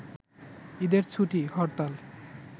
ঈদের ছুটি, হরতাল